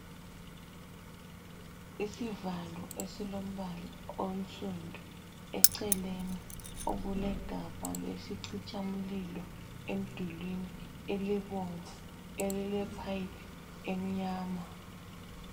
Isivalo esilombala onsundu. Eceleni okulegabha lesicitsha mlilo emdulini elibomvu elilephayiphi emnyama.